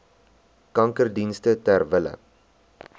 kankerdienste ter wille